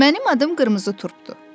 Mənim adım qırmızı turpdur.